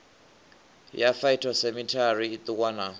ya phytosamitary i ṱuwa na